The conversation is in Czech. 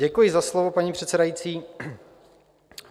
Děkuji za slovo, paní předsedající.